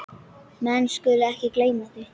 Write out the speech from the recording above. Menn skulu ekki gleyma því.